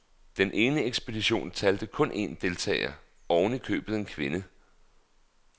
Den ene ekspedition talte kun en deltager, oven i købet en kvinde.